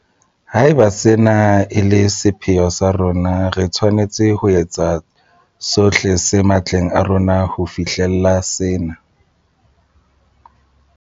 Haeba sena e le sepheo sa rona, re tshwanetse ho etsa sohle se matleng a rona ho fihlella sena.